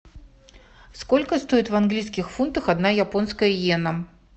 сколько стоит в английских фунтах одна японская йена